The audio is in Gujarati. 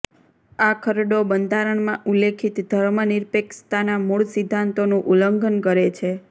આ ખરડો બંધારણમાં ઉલ્લેખિત ધર્મનિરપેક્ષતાના મૂળ સિદ્ધાંતોનું ઉલ્લંઘન કરે છે